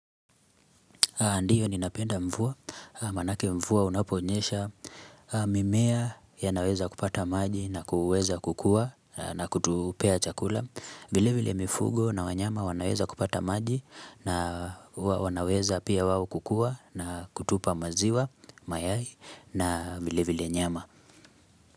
Ndio ninapenda mvua, manake mvua unaponyesha, mimea yanaweza kupata maji na kuweza kukua na kutupea chakula. Vile vile mifugo na wanyama wanaweza kupata maji na wanaweza pia wao kukua na kutupa maziwa, mayai na vile vile nyama.